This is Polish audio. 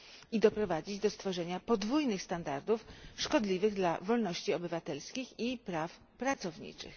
i doprowadzić do stworzenia podwójnych standardów szkodliwych dla wolności obywatelskich i praw pracowniczych.